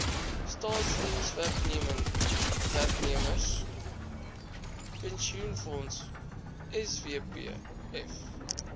staatsdienswerknemers pensioenfonds swpf